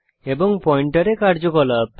এবং পয়েন্টারে কার্যকলাপ